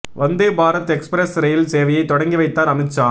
Vande Bharat express rail சேவையை தொடங்கி வைத்தார் அமித்ஷா